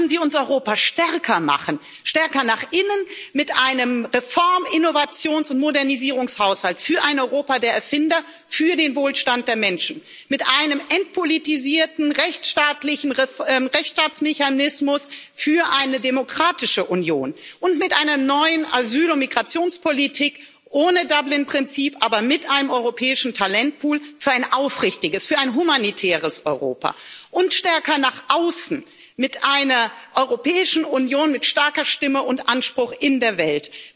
Lassen Sie uns Europa stärker machen stärker nach innen mit einem Reform Innovations und Modernisierungshaushalt für ein Europa der Erfinder, für den Wohlstand der Menschen, mit einem entpolitisierten Rechtstaatsmechanismus für eine demokratische Union und mit einer neuen Asyl und Migrationspolitik ohne Dublin Prinzip, aber mit einem europäischen Talentpool für ein aufrichtiges, für ein humanitäres Europa und stärker nach außen mit einer Europäischen Union mit starker Stimme und Anspruch in der Welt